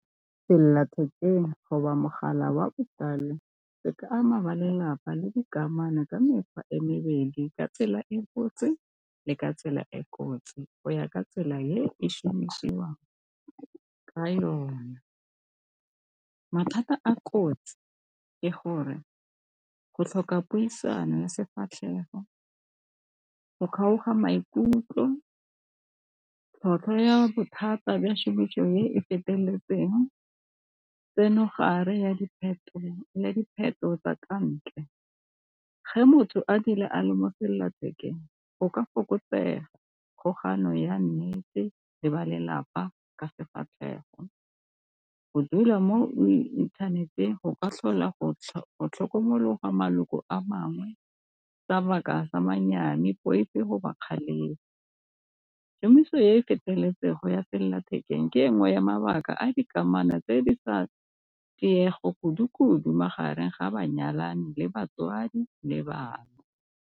Selelathekeng mogala botsala di ka ama ba lelapa le dikamano ka mekgwa e mebedi ka tsela e botse le ka tsela e kotsi go ya ka tsela e šomišiwang ka yona. Mathata a kotsi ke gore go tlhoka puisano ya sefatlhego, go kgaoga maikutlo, tlhwatlhwa ya bothata ba e feteletseng, tseno mogare ya dipheto tsa ka ntle. Ge motho a dula a le selela thekeng go ka fokotsega, kgolagano ya nnete le ba lelapa ka sefatlhego. Go dula mo inthaneteng go ka tlhola go tlhokomologa maloko a mangwe poifo kgalemo. Kemiso ya e feteletseng ya selelathekeng ke engwe ya mabaka a dikamano tse di tlisa tiego kudu-kudu magareng ga banyalani le batswadi le bana.